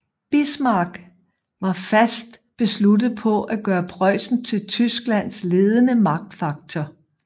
Bismarck var fast besluttet på at gøre Preussen til Tysklands ledende magtfaktor